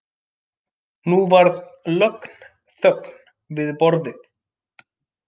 Nú varð lögn þögn við borðið.